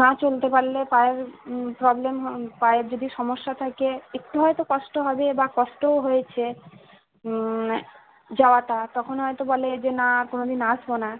না চলতে পারলে পায়ের উম problem পায়ের যদি সমস্যা থাকে একটু হয়তো কষ্ট হবে বা কষ্টও হয়েছে। উম যাওয়াটা। তখন হয়তো বলে না কোনোদিন আসব না।